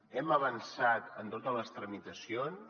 hem avançat en totes les tramitacions